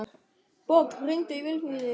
Borg, hringdu í Vilfríði.